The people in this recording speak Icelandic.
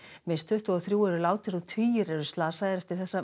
minnst tuttugu og þrjú eru látin og tugir eru slasaðir eftir þessa